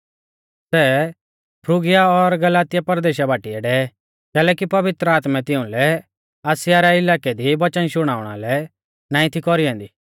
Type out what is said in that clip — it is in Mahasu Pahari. सै फ्रूगिया और गलातिया परदेशा बाटीऐ डै कैलैकि पवित्र आत्मै तिउंलै आसिया रै इलाकै दी वचन शुणाउणा लै नाईं थी कौरी ऐन्दी